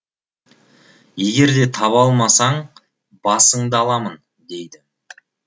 егер де таба алмасаң басыңды аламын дейді